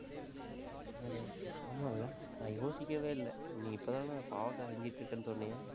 ஆமால்லே நான் யோசிக்கவே இல்லை. நீ இப்பதானே பாவைக்காய் செஞ்சிட்டிருக்கேன்னு சொன்னே?